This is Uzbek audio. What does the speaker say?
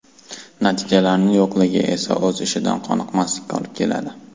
Natijalarning yo‘qligi esa o‘z ishidan qoniqmaslikka olib keladi.